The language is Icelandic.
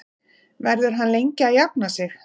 Verður hann lengi að jafna sig?